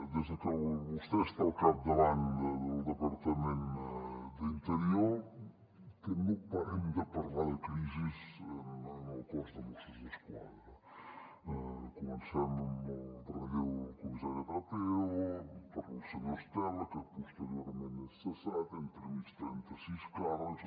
des de que vostè està al capdavant del departament d’interior que no parem de parlar de crisi en el cos de mossos d’esquadra comencem amb el relleu del comissari trapero pel senyor estela que posteriorment és cessat entremig trenta sis càrrecs